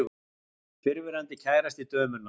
Fyrrverandi kærasti dömunnar.